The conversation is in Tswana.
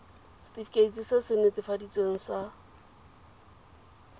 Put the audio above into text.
setefikeiti se se netefaditsweng sa